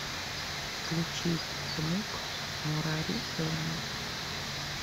включи внук нурарихена